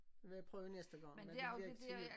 Vil jeg prøve næste gang men det bliver ikke til jul